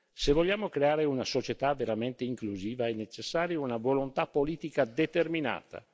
Se vogliamo creare una società veramente inclusiva è necessaria una volontà politica determinata.